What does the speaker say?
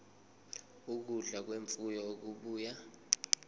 ukudla kwemfuyo okubuya